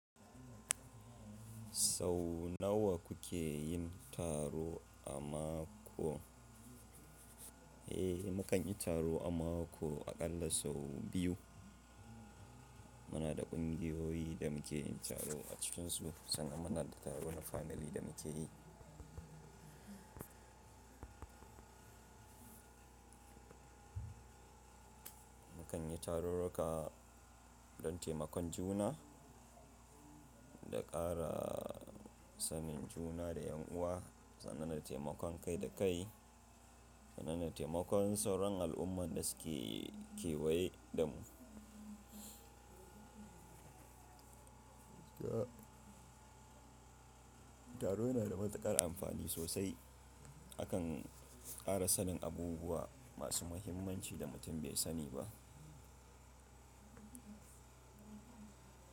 Sau nawa ku ke yin taro a mako? Eh, mu kan yi taro a mako aƙalla sau biyu. Munada ƙungiyoyi da mukeyin taro a cikinsu, sannan muna da taro na family da mukeyi. Mu kan yi tarurruka don taimakon juna, da ƙara sanin juna da yan'uwa, sannan da taimakon kai-da-kai sannan da taimakon sauran al'umman da suke kewaye da mu. Taro nada matuƙar amfani sosai. Akan ƙara sanin abubuwa masu muhimmanci da mutum bai sani ba.